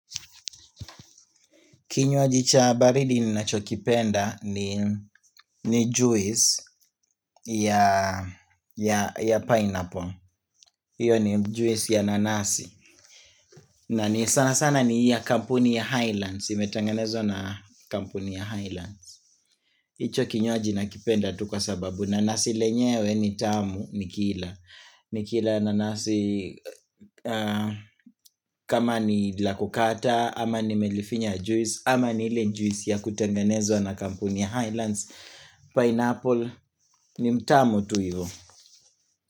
Kinywaji cha baridi ni nachokipenda ni ni juice ya pineapple Iyo ni juisi ya nanasi na ni sana sana ni ya kampuni ya Highlands imetengenezwa na kampuni ya Highlands hicho kinywaji nakipenda tu kwa sababu nanasi lenyewe ni tamu nikila Nikila nanasi kama ni la kukata ama nimelifinya juice ama nile juisi ya kutengenezwa na kampuni ya Highlands Pineapple ni mtamu tu ivo.